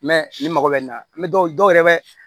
ni mago bɛ nin na dɔw yɛrɛ bɛ